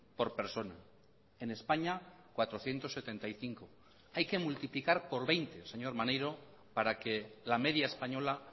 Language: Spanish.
por persona en españa cuatrocientos setenta y cinco euros hay que multiplicar por veinte señor maneiro para que la media española